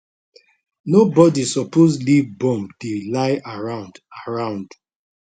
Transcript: nobodi suppose leave bomb dey lie around around